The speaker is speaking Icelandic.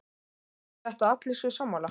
Þýðir þetta að allir séu sammála?